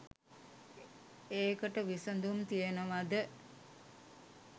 ඒකට විසඳුම් තියනවද?